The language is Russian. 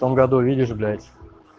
в том году видишь блять